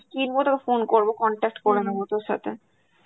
কিনবো তোকে phone করব, contact করে নেব তোর সাথে